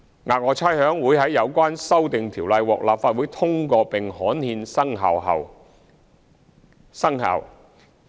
額外差餉會在有關修訂條例獲立法會通過並刊憲後生效。